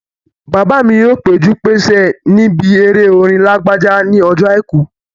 Bàbá mi yóò péjú-pésẹ̀ níbi eré orin Lágbájá ní ọjọ́ àìkú